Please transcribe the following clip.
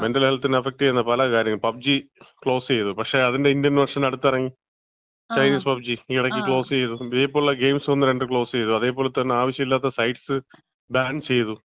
Mental ഹെൽത്തിനെ affect ചെയ്യുന്ന പല കാര്യങ്ങളും. പബ്ജി ക്ലോസ് ചെയ്തു. പക്ഷേ, അതിന്‍റെ ഇന്ത്യൻ വേർഷൻ അടുത്ത് ഇറങ്ങി. ചൈനീസ് പബ്ജി ഈ ഈയടയ്ക്ക് ക്ലോസ് ചെയ്തു. ഇതേപോലെ ഗെയിംസ് ഒന്ന് രണ്ടൊക്കെ ക്ലോസ് ചെയ്തു. അതേപോലെ തന്നെ ആവശ്യല്ലാത്ത സൈറ്റ്സ് ബാൻ ചെയ്തു.